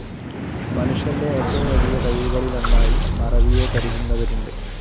മനുഷ്യൻ്റെ ഏറ്റവും വലിയ കഴിവുകളിലൊന്നായി മറവിയെ കരുതുന്നവരുണ്ട്.